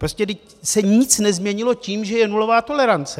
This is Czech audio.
Vždyť se nic nezměnilo tím, že je nulová tolerance.